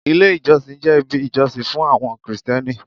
Ilé ìjọsìn jẹ́ ibi ìjọsìn fún àwọn krìstẹ́nì.